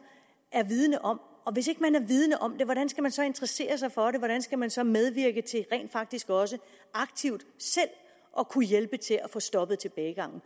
er vidende om og hvis ikke man er vidende om det hvordan skal man så interessere sig for det hvordan skal man så medvirke til rent faktisk også aktivt selv at kunne hjælpe til at få stoppet tilbagegangen